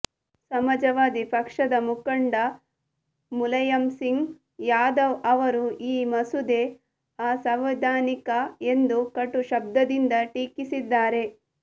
ಸಮಾಜವಾದಿ ಪಕ್ಷದ ಮುಖಂಡ ಮುಲಾಂುುಂಸಿಂಗ್ ಂುುಾದವ್ ಅವರು ಈ ಮಸೂದೆ ಅಸಂವಿಧಾನಿಕ ಎಂದು ಕಟು ಶಬ್ದದಿಂದ ಟೀಕಿಸಿದ್ದಾರೆ